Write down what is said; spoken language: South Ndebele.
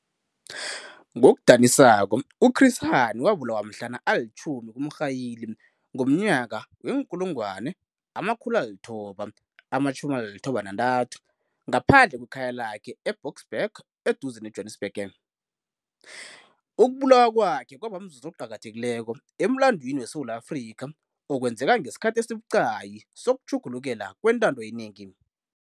Ngokudanisako, u-Chris Hani wabulawa mhlana ali-10 kuMrhayili wee-1993, ngaphandle kwekhaya lakhe e-Boksburg, eduze ne-Johannesburg. Ukubulawa kwakhe kwaba mzuzu oqakathekileko emlandwini weSewula Afrika, okwenzeka ngesikhathi esibucayi sokutjhugulukela kwentando yenengi.